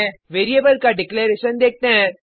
variable का declaration देखते हैं